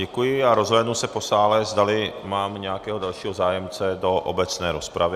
Děkuji a rozhlédnu se po sále, zdali mám nějakého dalšího zájemce do obecné rozpravy.